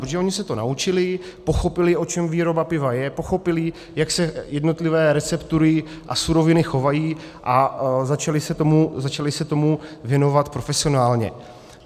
Protože oni se to naučili, pochopili, o čem výroba piva je, pochopili, jak se jednotlivé receptury a suroviny chovají, a začali se tomu věnovat profesionálně.